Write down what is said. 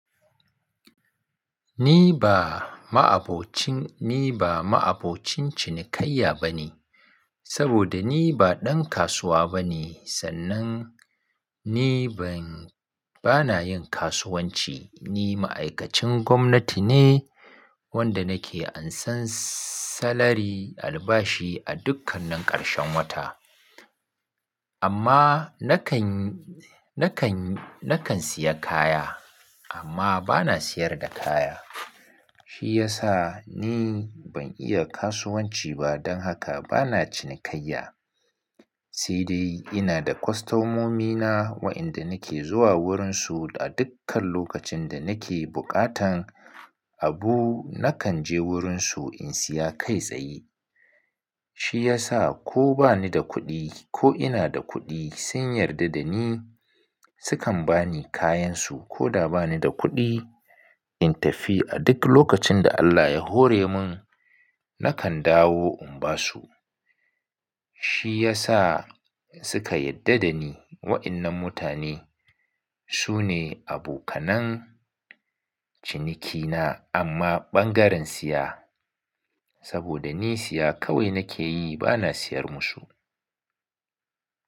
Ni ba ma'abocin, ni ba ma'abocin cinikayya bane saboda ni ba ɗan kasuwa bane sannan ni ban, bana yin kasuwanci. Ni ma'aikacin gwamnati ne wanda nake ansan salari albashi a dukkan nan ƙarshen wata. Amma nakan, nakan, nakan siya kaya amma bana siyar da kaya. Shi yasa ni ban iya kasuwanci ba don haka bana cinikayya. Sai dai ina da kwastomomina wa'inda nake zuwa wurinsu a dukkan lokacin da nake buƙatan abu nakan je wurinsu in siya kai tsaye. Shi yasa ko bani da kuɗi ko ina da kuɗi sun yarda da ni sukan bani kayansu koda bani da kuɗi in tafi. A duk lokacin da Allah ya hore mun nakan dawo in ba su. Shi yasa suka yarda da ni. Wa'innan mutane su ne abokanan cinikina amma ɓangaren siya saboda ni siya kawai nake yi bana siyar musu.